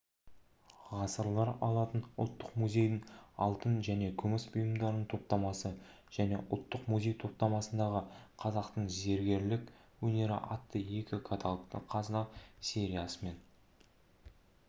ғасырлар алатын ұлттық музейдің алтын және күміс бұйымдарының топтамасы және ұлттық музей топтамасындағы қазақтың зергерлік өнері атты екі каталог қазына сериясымен